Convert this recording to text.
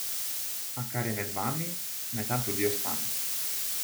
A kar je med vami, naj tam tudi ostane.